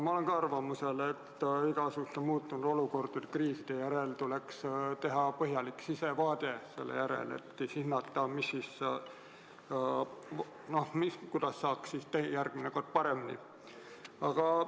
Ma olen ka arvamusel, et igasuguste muutunud olukordade, kriiside järel tuleks teha põhjalik sissevaade, et hinnata, kuidas saaks järgmine kord paremini.